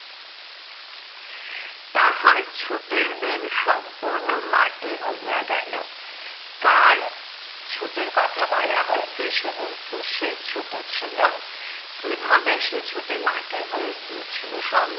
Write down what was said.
তাহার ছুটির দিন সম্পূর্ণ মাটি হইয়া গেলো। কার ছুটির কথা বলা হয়েছে সেদিন কিসের ছুটি ছিল? কিভাবে সেই ছুটি মাটি হয়ে গিয়েছিলো,